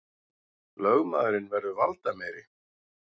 Lögmaðurinn verður valdameiri